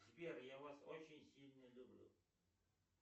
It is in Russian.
сбер я вас очень сильно люблю